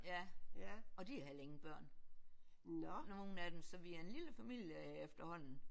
Ja og de har heller ingen børn nogen af dem så vi er en lille familie efterhånden